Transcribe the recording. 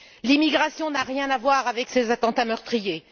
L'immigration n'a rien à voir avec ces attentats meurtriers.